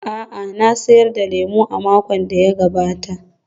A'a, na sayar da lemo a makon da ya gabata.